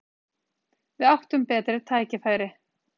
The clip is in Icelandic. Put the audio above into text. Við áttum betri tækifæri.